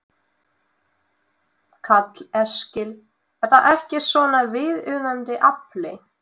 Karl Eskil: Er það ekki þá svona viðunandi afli?